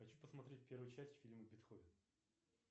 хочу посмотреть первую часть фильма бетховен